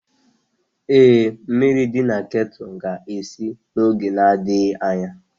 Ee, mmiri dị na kettle ga-esi n'oge na-adịghị anya